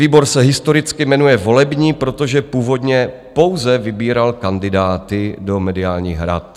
Výbor se historicky jmenuje volební, protože původně pouze vybíral kandidáty do mediálních rad.